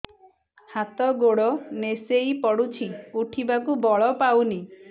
ହାତ ଗୋଡ ନିସେଇ ପଡୁଛି ଉଠିବାକୁ ବଳ ପାଉନି